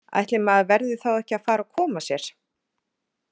Ætli maður verði þá ekki að fara að koma sér!